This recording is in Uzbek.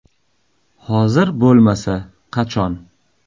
Hozir bo‘lmasa qachon?